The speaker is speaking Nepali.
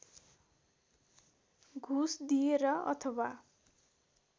घुस दिएर अथवा